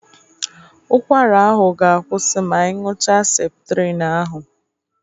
Ụkwara ahụ ga-akwụsị ma ị ñụcha Septrin ahụ.